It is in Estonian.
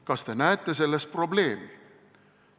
Kas te näete selles probleemi?